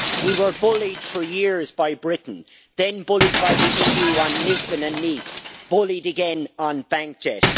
We were bullied for years by Britain, then bullied by the EU on Lisbon and Nice, bullied again on bank debt.